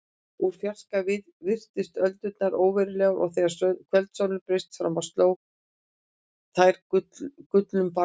Úr fjarska virtust öldurnar óverulegar og þegar kvöldsólin braust fram sló á þær gullnum bjarma.